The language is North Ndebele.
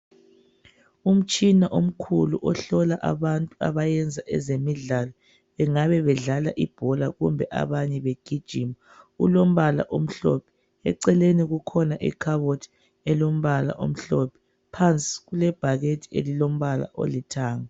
Umtshina omkhulu ohlola abantu abayenza ezemidlalo bengabe bedlala ibhola kumbe abanye begijima ulombala omhlophe eceleni kukhona ikhabothi elombala omhlophe phansi kulebhakede elilombala olithanga